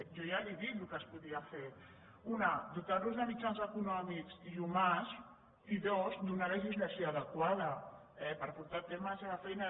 jo ja li he dit el que es podria fer una dotar los de mitjans econòmics i humans i dues donar legislació adequada per portar a terme la seva feina